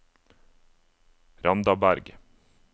Randaberg